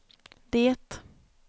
det